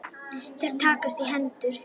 Þeir takast í hendur.